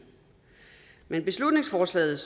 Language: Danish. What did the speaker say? men beslutningsforslaget